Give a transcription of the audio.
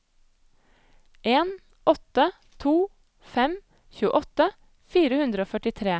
en åtte to fem tjueåtte fire hundre og førtitre